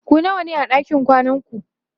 ku nawa ne a ɗakin kwanan ku?